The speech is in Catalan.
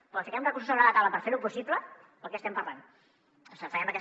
però o fiquem recursos sobre la taula per fer ho possible o de què estem parlant o sigui farem aquesta